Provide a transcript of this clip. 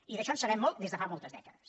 i d’això en sabem molt des de fa moltes dècades